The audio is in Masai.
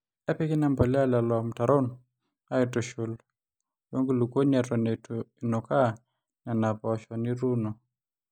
epiki ina mpolea lelo mutarron aaitushul wenkulukuoni eton eitu inukaa nena poosho nituuno